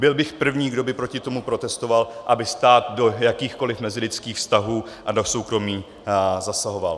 Byl bych první, kdo by proti tomu protestoval, aby stát do jakýchkoliv mezilidských vztahů a do soukromí zasahoval.